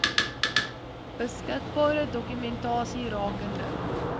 beskikbare dokumentasie rakende